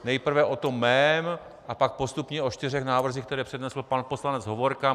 Nejprve o tom mém a pak postupně o čtyřech návrzích, které přednesl pan poslanec Hovorka.